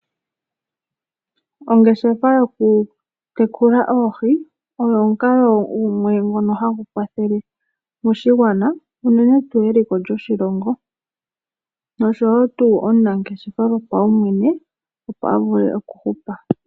Ongeshefa yoku tekula oohi oyo omukalo ngono gumwe hagu kwathele moshigwana unene tuu eliko lyoshilongo, noshowo tuu omunangeshefa gopawumwene opo avule okuhupa.